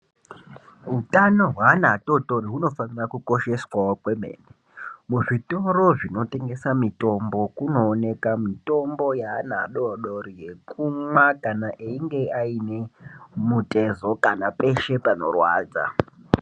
Utano hweana atotori hunofanire kukosheswawo kwemene ,muzvitoro zvinotengesa mitombo kunooneka mitombo yeana adodori yekumwa kana einge aine mutezo kana peshe panorwadza.